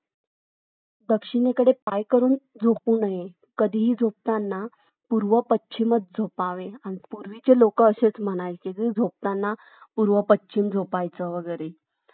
मस्तपैकी तुम्ही मारा एखांद्या दिवशी चक्कर नगरमध्ये